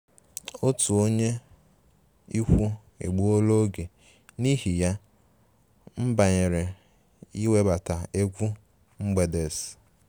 Otu onye ikwu egbuola oge, n'ihi ya, m banyere iwebata egwu mgbede’s